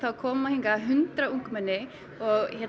koma hingað hundruð ungmenni og